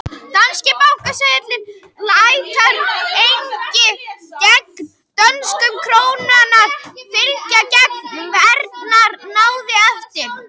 Danski seðlabankinn lætur einnig gengi dönsku krónunnar fylgja gengi evrunnar náið eftir.